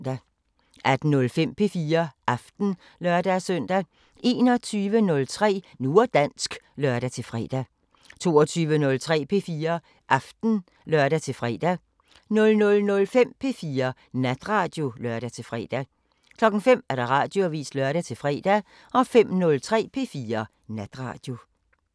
18:05: P4 Aften (lør-søn) 21:03: Nu og dansk (lør-fre) 22:03: P4 Aften (lør-fre) 00:05: P4 Natradio (lør-fre) 05:00: Radioavisen (lør-fre) 05:03: P4 Natradio